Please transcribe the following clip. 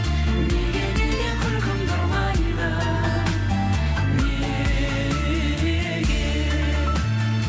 неге неге күлкімді ұрлайды неге